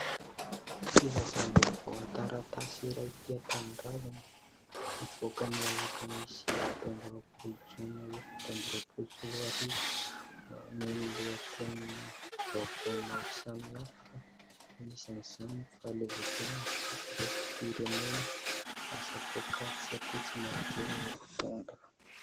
Filazam-baovao an-taratasy iray Tia Tanindrazana. Nivoaka ny alakamisy fito amby roapolo jona efatra amby roapoly sy roa arivo. Maneho ny lohatenim-baovao maro samihafa anisany izany fahaleovantena sy firaisam-pirenena lasa poakaty satria tsy maodely ny mpitondra.